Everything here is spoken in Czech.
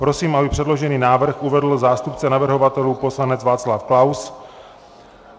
Prosím, aby předložený návrh uvedl zástupce navrhovatelů poslanec Václav Klaus.